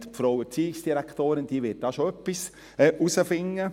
die Frau Erziehungsdirektorin wird etwas herausfinden.